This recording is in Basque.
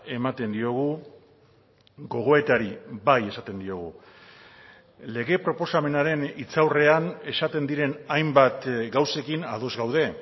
ematen diogu gogoetari bai esaten diogu lege proposamenaren hitzaurrean esaten diren hainbat gauzekin ados gaude